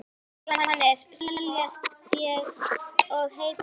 Jóhannes: Seljast eins og heitar lummur?